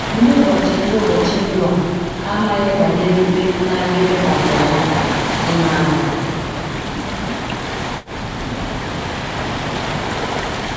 Ndị ụbọchị Ndị ụbọchị Noa amaghị banyere ikpe na - aga ịbịakwasị ha — ị̀ maara?